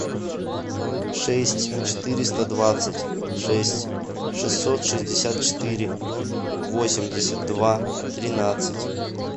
шесть четыреста двадцать шесть шестьсот шестьдесят четыре восемьдесят два тринадцать